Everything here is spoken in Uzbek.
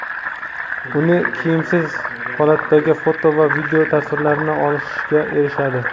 uni kiyimsiz holatdagi foto va video tasvirlarini olishga erishadi.